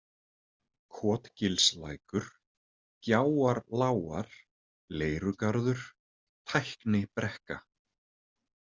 Kotgilslækur, Gjáarlágar, Leirugarður, Tæknibrekka